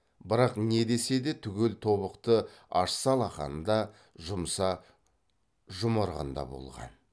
бірақ не десе де түгел тобықты ашса алақанында жұмса жұмырығында болған